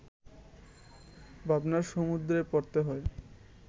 ভাবনার সমুদ্রে পড়তে হয়